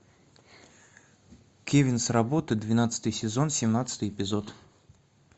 кевин с работы двенадцатый сезон семнадцатый эпизод